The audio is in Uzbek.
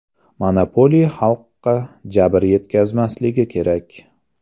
Monopoliya xalqqa jabr yetkazmasligi kerak.